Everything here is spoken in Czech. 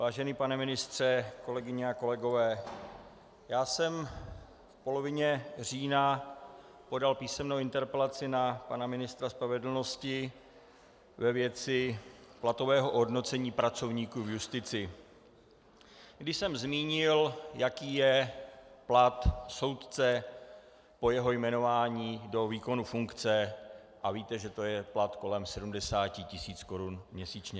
Vážený pane ministře, kolegyně a kolegové, já jsem v polovině října podal písemnou interpelaci na pana ministra spravedlnosti ve věci platového ohodnocení pracovníků v justici, když jsem zmínil, jaký je plat soudce po jeho jmenování do výkonu funkce, a víte, že je to plat kolem 70 tisíc korun měsíčně.